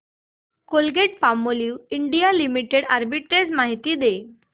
Colgate Palmolive India limited arbitrage माहिती दे